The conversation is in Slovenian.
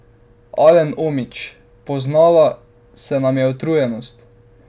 Alen Omić: "Poznala se nam je utrujenost.